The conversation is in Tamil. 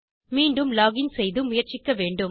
மீண்டும் லோகின் செய்து முயற்சிக்க வேண்டும்